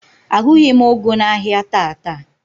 Ahụghị m ụgụ n'ahịa taata.